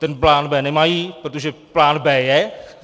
Ten plán B nemají, protože plán B je...